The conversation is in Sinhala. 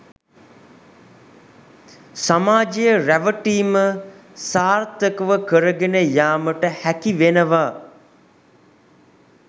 සමාජය රැවටීම සාර්ථකව කරගෙන යාමට හැකිවෙනවා.